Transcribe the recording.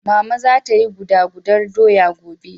Mama za ta yi guda gudar doya gobe.